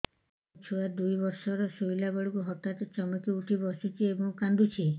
ମୋ ଛୁଆ ଦୁଇ ବର୍ଷର ଶୋଇଲା ବେଳେ ହଠାତ୍ ଚମକି ଉଠି ବସୁଛି ଏବଂ କାଂଦୁଛି